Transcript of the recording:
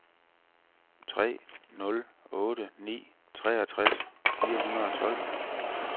tre nul otte ni treogtres fire hundrede og tolv